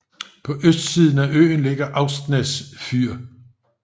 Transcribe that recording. På østsiden af øen ligger Austnes fyr